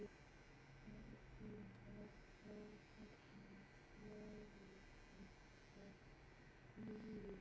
Karlinn var frásagnarglaður en spurði Jón einskis af högum hans.